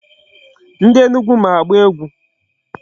Ndị Enugu ma agba egwu.